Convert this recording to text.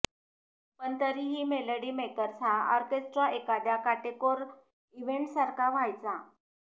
पण तरीही melody makers हा ऑर्केस्ट्रा एखाद्या काटेकोर इव्हेंट्ससारखा व्हायचा